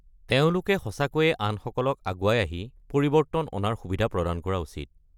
তেওঁলোকে সঁচাকৈয়ে আনসকলক আগুৱাই আহি পৰিৱৰ্তন অনাৰ সুবিধা প্ৰদান কৰা উচিত।